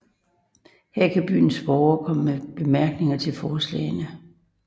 Her kan byens borgere komme med bemærkninger til forslagene